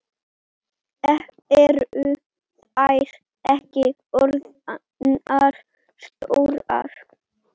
Eru þær ekki orðnar stórar?